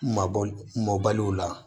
Mabɔ mɔbaliw la